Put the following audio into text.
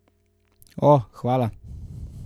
O, hvala.